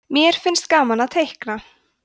mér finnst gaman að teikna